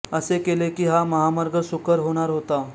असे केले की हा महामार्ग सुकर होणार होता